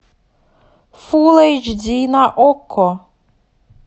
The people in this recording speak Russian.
фулл эйч ди на окко